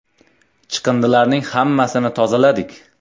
Chiqindilarning hammasini tozaladik.